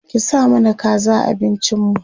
ki sa mana kaza a abincin mu